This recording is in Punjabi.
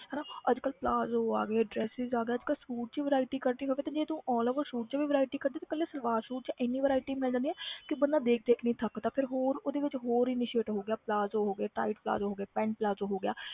ਹਨਾ ਅੱਜ ਕੱਲ੍ਹ plazo ਆ ਗਏ dresses ਆ ਗਏ ਅੱਜ ਕੱਲ੍ਹ suit 'ਚ ਹੀ variety ਕੱਢਣੀ ਹੋਵੇ ਤੇ ਜੇ ਤੂੰ all over suit 'ਚ ਵੀ variety ਕੱਢੇ ਤੇ ਇਕੱਲੇ ਸਲਵਾਰ suit 'ਚ ਇੰਨੀ variety ਮਿਲ ਜਾਂਦੀ ਹੈ ਕਿ ਬੰਦਾ ਦੇਖ ਦੇਖ ਨੀ ਥੱਕਦਾ ਫਿਰ ਹੋਰ ਉਹਦੇ ਵਿੱਚ ਹੋਰ initiate ਹੋ ਗਿਆ plazo ਹੋ ਗਏ tight plazo ਹੋ ਗਏ pant plazo ਹੋ ਗਿਆ